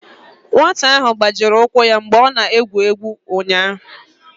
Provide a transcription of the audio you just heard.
nwata ahụ gbajiri ụkwụ ya mgbe ọ na-egwu egwu ụnyahụ